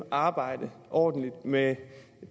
arbejde ordentligt med